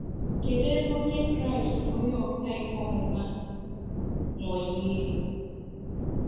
Kedụ ebe Onye Kraịst na onye ọkà ihe ọmụma nọ yie?